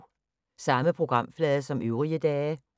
Samme programflade som øvrige dage